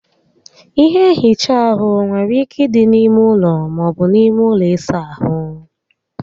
Ihe nhicha áhụ nwere ike ịdị na ímé ụlọ, maọbu na ime ụlọ ịsa ahụ